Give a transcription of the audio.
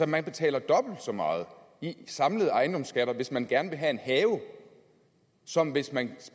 man betaler dobbelt så meget i samlede ejendomsskatter hvis man gerne vil have en have som hvis man